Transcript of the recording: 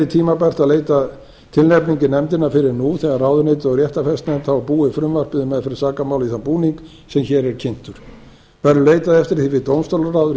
tímabært að leita tilnefninga í nefndina fyrr en nú þegar ráðuneytið og réttarfarsnefnd hafa búið frumvarpið um meðferð sakamála í þann búning sem hér er kynntur verður leitað eftir því við dómstólaráð